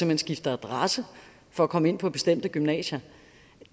hen skifter adresse for at komme ind på bestemte gymnasier